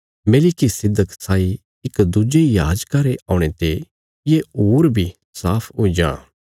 मेलिकिसिदक साई इक दुज्जे याजका रे औणे ते ये होर बी साफ हुई जां